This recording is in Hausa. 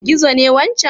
Gizo ne wancan?